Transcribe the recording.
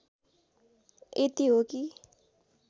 यति हो कि